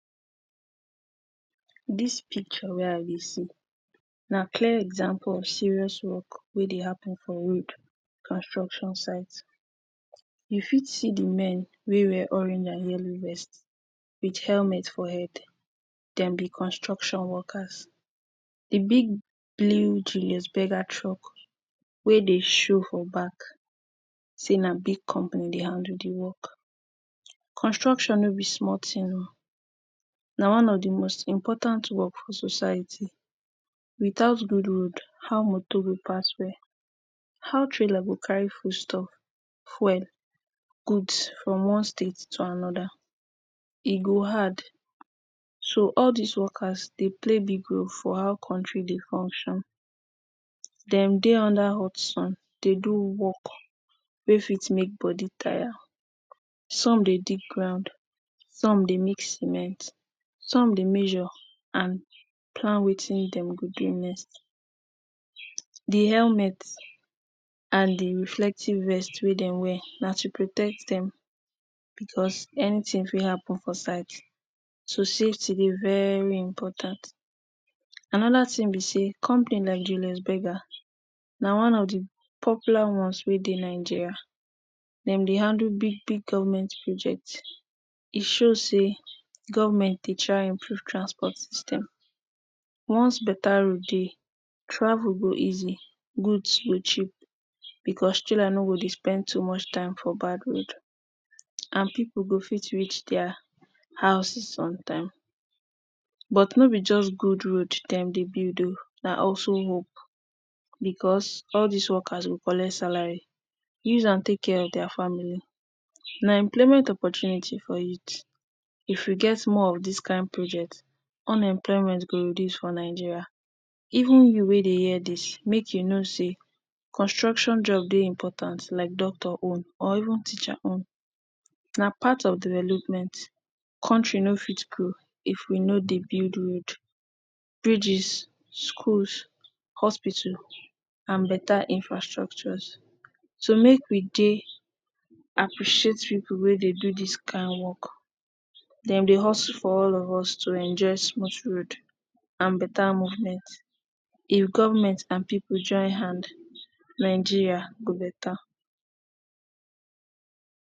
Dis picture wey I dey see na clear example of serious work wey dey happen for road construction site. You fit see di men wey wear orange and yellow vest wit elment for head, dem be construction workers. Di big blue Julius Berger truck wey dey show for back sey na big company dey handle di work. Construction no be small tin o, na one of di most important work for society, without good road how motor go pass well, how trailer go carry foodstuff, fuel, goods from one state to anoda e go hard so all dis workers dey play big role for how country dey function, dem dey under hot sun dey do work wey fit make body tire. Some dey dig ground, some dey mix cement, some dey measure and plan watin dem go do next. Di element and di reflective vest wey dem wear na to protect dem because anytin fit happen for site so safty dey very important. Anoda tin be sey company like Julius Berger na one of di popular ones wey dey Nigeria, dem dey handle big big government project, e show sey government dey try improve transport system. Once beta road dey, travel go easy, goods go cheap because trailer no go dey spend too much time for bad road and pipu go fit reach dia house on time. But no be just good road dem dey build o, na also work because all dis workers go collect salary, use am take care of dia family. Na employment opportunity for youth, if we get more of dis kain project unemployment go reduce for Nigeria, even you wey dey hear dis make you know sey construction job dey important like doctor own or even teacher own, na part of development country no fit grow if we no build road, bridges, schools, hospitals and beta infrastructures. So make we dey appreciate pipu wey dey do dis kain work, dem dey hustle for all of us to enjoy smooth road and better movement. If government and pipu join hand Nigeria go beta.